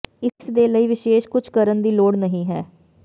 ਇਸ ਦੇ ਲਈ ਵਿਸ਼ੇਸ਼ ਕੁਝ ਕਰਨ ਦੀ ਲੋੜ ਨਹੀ ਹੈ